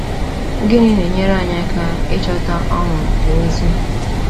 Gịnị na-enyere anyị aka ịchọta ọṅụ n’ozi?